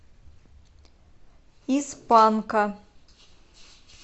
из панка